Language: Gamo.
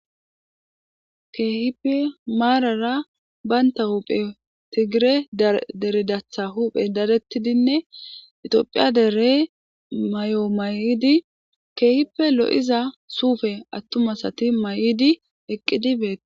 keehipe maarara baynta huphe tigire dere datha huuphe dadettidinne itoophiya dere mayo mayidi keehippe lo'iza suufe attumasati mayidi eqqidi bee